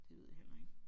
Det ved jeg heller ikke